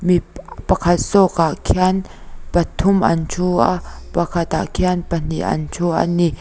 pip pakhat zawk ah khian pa thum an thu a pakhat ah khian pahnih an thu ani.